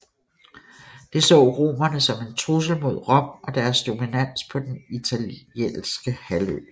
Det så romerne som en trussel mod Rom og deres dominans på den italiske halvø